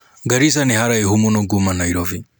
Garisa nĩ haraihu múno kuma Nairobi